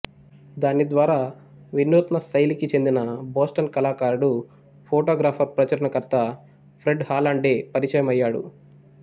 దాని ద్వారా వినూత్న శైలికి చెందిన బోస్టన్ కళాకారుడు ఫోటోగ్రాఫర్ ప్రచురణకర్త ఫ్రెడ్ హాలండ్ డే పరిచయం అయ్యాడు